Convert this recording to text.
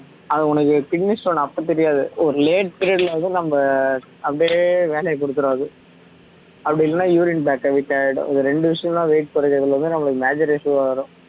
அது உனக்கு kidney stone அப்போ தெரியாது ஒரு late period ல வந்து நம்ம அப்படியே வேலைய குடுத்துரும் அது அப்படி இல்லன்னா urine bag weak ஆகிடும் இந்த ரெண்டு விஷயமும் தான் weight குறைக்கிறதுல வந்து நமக்கு major issue ஆ வரும்